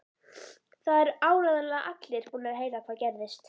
Það eru áreiðanlega allir búnir að heyra hvað gerðist.